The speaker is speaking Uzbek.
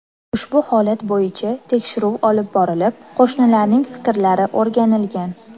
Ushbu holat bo‘yicha tekshiruv olib borilib, qo‘shnilarning fikrlari o‘rganilgan.